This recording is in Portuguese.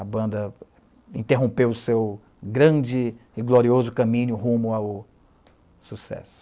A banda interrompeu o seu grande e glorioso caminho rumo ao sucesso.